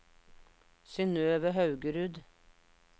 Synnøve Haugerud